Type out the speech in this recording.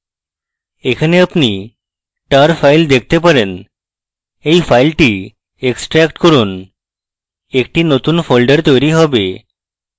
এখানে আপনি tar file দেখতে পারেন এই file extract করুন একটি নতুন folder তৈরী হবে